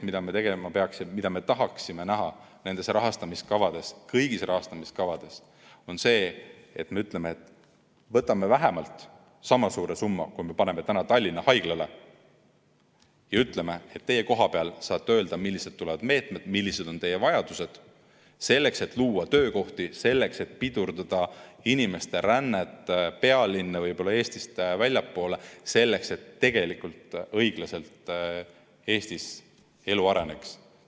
Mida me tegema peaksime, mida me tahaksime näha nendes rahastamiskavades, kõigis rahastamiskavades, on see, et me võtame vähemalt sama suure summa, kui me paneme Tallinna haigla jaoks, ja ütleme, et teie kohapeal saate öelda, millised tulevad meetmed, millised on teie vajadused, selleks et luua töökohti, selleks et pidurdada inimeste rännet pealinna, võib-olla Eestist väljapoole, selleks et Eestis tegelikult elu õiglaselt areneks.